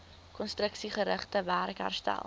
konstruksiegerigte werk herstel